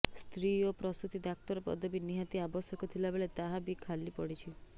ସ୍ତ୍ରୀ ଓ ପ୍ରସୁତୀ ଡାକ୍ତର ପଦବୀ ନିହାତି ଆବଶ୍ୟକ ଥିଲାବେଳେ ତାହାବି ଖାଲି ପଡିଛି